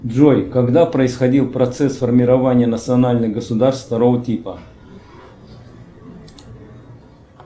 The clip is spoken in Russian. джой когда происходил процесс формирования национальных государств второго типа